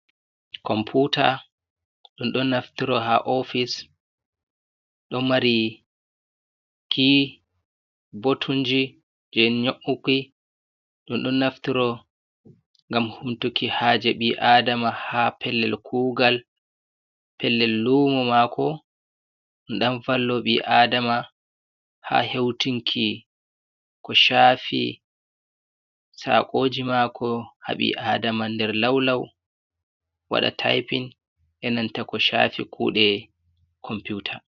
Computa ɗum ɗon naftoro ha ofise, ɗo mari ki botunji je nyouki, ɗum ɗon naftiro ngam humtuki haje ɓi adama ha pellel kugal, pellel lumo mako, ɗum ɗon vallo ɓi adama ha heutinki ko chafi tsakoji mako, haɓi adama nder laulau, waɗa taipin, enanta ko cafi kuɗe computa.